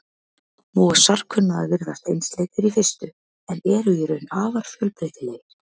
Mosar kunna að virðast einsleitir í fyrstu en eru í raun afar fjölbreytilegir.